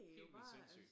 Helt vildt sindssygt